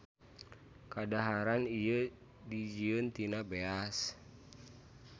Kadaharan ieu dijieun tina beas.